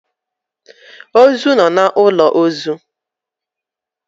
Ozu nọ n'ụlọ ozu